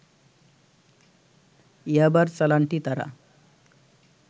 ইয়াবার চালানটি তারা